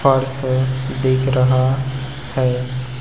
Purse दिख रहा है।